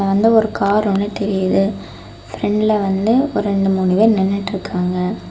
நல்ல ஒரு கார் ஒன்னு தெரியுது பிரண்ட்ல வந்து ரெண்டு மூணு பேர் நின்னுட்டு இருக்காங்க.